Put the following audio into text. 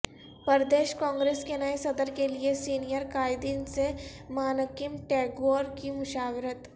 پردیش کانگریس کے نئے صدر کیلئے سینئر قائدین سے مانکیم ٹیگور کی مشاورت